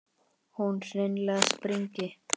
Hún hreinlega springi.